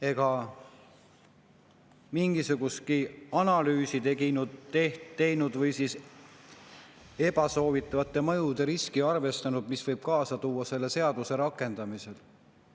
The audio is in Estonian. Ei ole mingisugustki analüüsi tehtud või arvestatud ebasoovitavate mõjude riski, mis võib kaasa tulla selle seaduse rakendamisega.